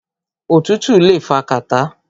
Òtútù le fa kàtá.